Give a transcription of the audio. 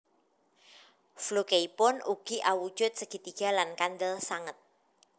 Flukeipun ugi awujud segitiga lan kandel sanget